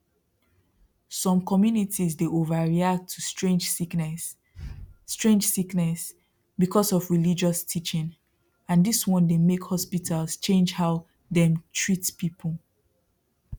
some communities dey overreact to strange sickness strange sickness because of religious teaching and this one dey make hospitals change how dem treat people